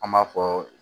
An b'a fɔ